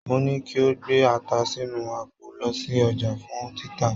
Mo ní kí o gbé ata sínú àpò lọ sí ọjà fún títà.